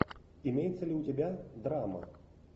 имеется ли у тебя драма